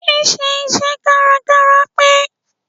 Ṣí ṣe iṣẹ́ kárakára pé.